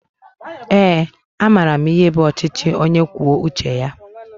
Ee a maara m ihe bụ ọchịchị ónyé kwụọ uche ya